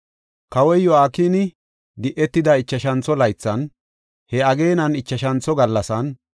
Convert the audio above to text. Kawoy Yo7akini di7etida ichashantho laythan, he ageenan ichashantho gallasan,